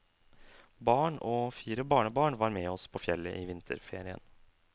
Barn og fire barnebarn var med oss på fjellet i vinterferien.